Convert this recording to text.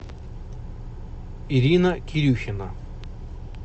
ирина кирюхина